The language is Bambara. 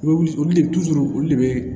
Olu olu de olu de be